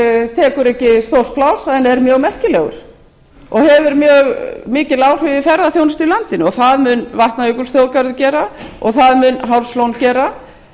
tekur ekki stórt pláss en er mjög merkilegur og hefur mjög mikil áhrif á ferðaþjónustu í landinu og það mun vatnajökulsþjóðgarður gera og það mun hálslón gera og